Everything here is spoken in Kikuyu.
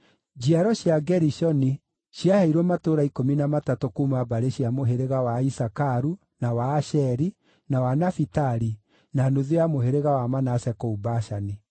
Njiaro cia Gerishoni ciaheirwo matũũra ikũmi na matatũ kuuma mbarĩ cia mũhĩrĩga wa Isakaru, na wa Asheri, na wa Nafitali, na nuthu ya mũhĩrĩga wa Manase kũu Bashani.